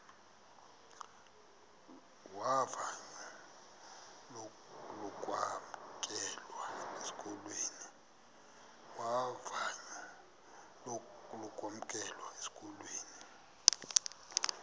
vavanyo lokwamkelwa esikolweni